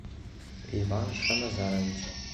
иван шаназарович